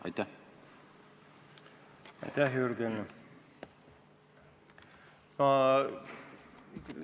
Aitäh, Jürgen!